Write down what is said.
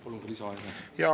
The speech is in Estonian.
Palun ka lisaaega.